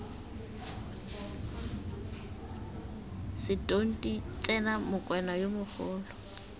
setonti tsena mokwena yo mogolo